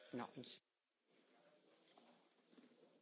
Ich hätte zwei konkrete Fragen an die Kollegin.